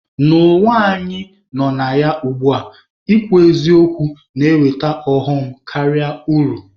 N'ụwa anyị nọ na ya ugbua, ịkwụ n'eziokwu na-eweta ọghọm karịa uru.